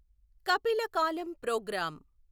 కపిల కాలం ప్రోగ్రామ్